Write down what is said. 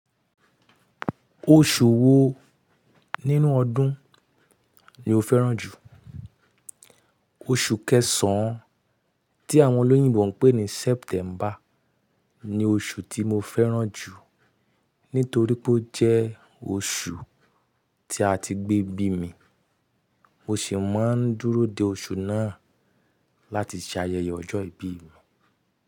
Oṣù wo nínú ọdún ni o fẹ́ràn jù? Oṣù kẹsàn-án, tí àwọn olóyìnbo ń pè ní September, ni oṣù tí mo fẹ́ràn jù nítorí pé ó jẹ́ oṣù tí a ti gbé bí mi. Mo sì máa ń dúró de oṣù náà láti ṣe ayẹyẹ ọjọ́ ìbí mi.